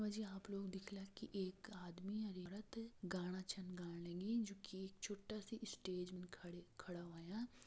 जी आप लोग दिखला की एक आदमी और औरत गाँना छंग गानीये जो की छोटा-सा स्टेज मे खड़े खड़ावाया।